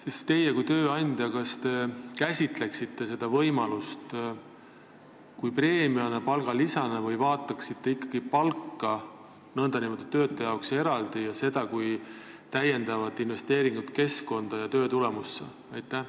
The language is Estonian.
Kas teie kui tööandja käsitleksite seda võimalust preemiana, palgalisana, või vaataksite ikkagi palka nn töötaja jaoks eraldi, aga seda kui lisainvesteeringut keskkonda ja töötulemusse?